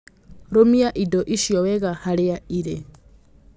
Rũmia indo icio wega harĩa irĩ.